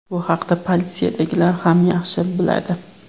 Bu haqida politsiyadagilar ham yaxshi biladi.